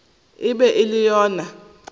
e be e le yona